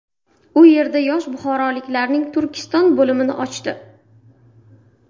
U yerda Yosh buxoroliklarning Turkiston bo‘limini ochdi.